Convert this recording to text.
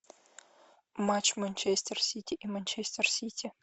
матч манчестер сити и манчестер сити